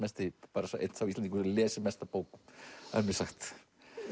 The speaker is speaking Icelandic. einn sá Íslendingur lest mest af bókum er mér sagt